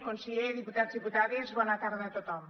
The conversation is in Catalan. conseller diputats diputades bona tarda a tothom